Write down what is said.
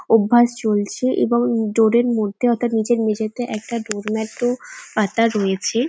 অভ্যাস চলছে এবং ডোর -র মধ্যে অর্থাৎ নিচের মেঝেতে একটা ডোর ম্যাট -ও পাতা রয়েছে।